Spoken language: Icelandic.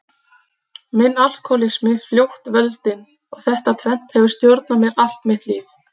Minn alkohólismi fljótt völdin og þetta tvennt hefur stjórnað mér allt mitt líf.